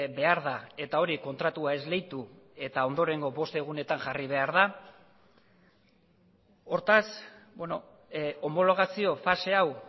behar da eta hori kontratua esleitu eta ondorengo bost egunetan jarri behar da hortaz homologazio fase hau